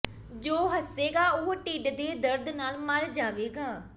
ਜੋ ਹੱਸੇਗਾ ਉਹ ਢਿੱਡ ਦੇ ਦਰਦ ਨਾਲ ਮਰ ਜਾਵੇਗਾ